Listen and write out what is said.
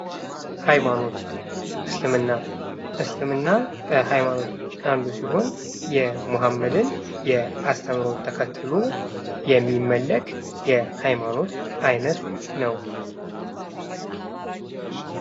ሃይማኖት እስልምና እስልምና ከ ሃይማኖቶች አንዱ ሲሆን፤ የመሐመድን አስተምህሮ ተከትሎ የሚመለክ የሃይማኖት ዓይነት ነው።